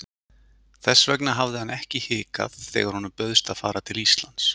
Þess vegna hafði hann ekki hikað þegar honum bauðst að fara til Íslands.